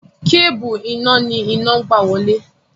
Kébùù iná ni iná ń gbà wọlé.